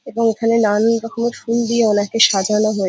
এটা ওখানে নানান রকমের ফুল দিয়ে ওনাকে সাজানো হয়ে--